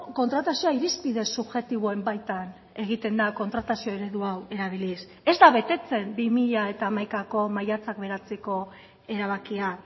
kontratazioa irizpide subjektiboen baitan egiten da kontratazio eredu hau erabiliz ez da betetzen bi mila hamaikako maiatzak bederatziko erabakia